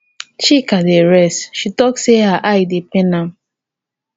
chika dey rest she talk say her eye dey pain am